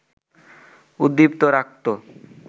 উদ্দীপ্ত রাখত